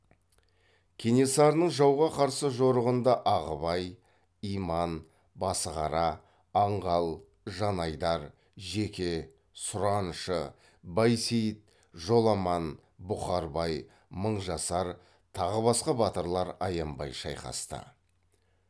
кенесарының жауға қарсы жорығында ағыбай иман басығара аңғал жанайдар жеке сұраншы байсейіт жоламан бұқарбай мыңжасар тағы басқа батырлар аянбай шайқасты